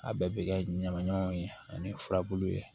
A bɛɛ bɛ kɛ ɲamaɲamanw ye ani furabulu ye